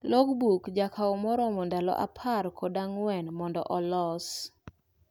Logbook jakao maromo ndalo apar kod ang'uen mondo olos.